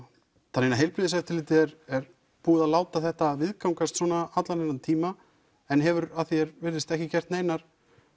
þannig að heilbrigðiseftirlitið er búið að láta þetta viðgangast svona allan þennan tíma en hefur að því er virðist ekki gert neinar